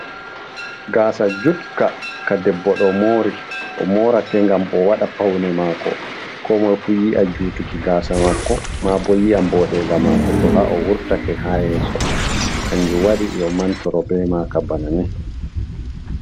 Gaasa jutka ka debbo ɗo mori o mora ke ngam o waɗa paune mako ko moi fu yi'a jutuki gasa mako ma bo yi'a boɗe nga mako to ha o wurta ke ha yeso kanjum wadi yo mantoro be maka banani.